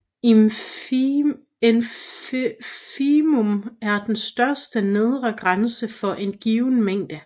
Infimum er den største nedre grænse for en given mængde